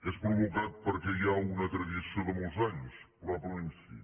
és provocat perquè hi ha una tradició de molts anys probablement sí